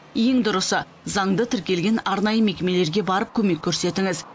ең дұрысы заңды тіркелген арнайы мекемелерге барып көмек көрсетіңіз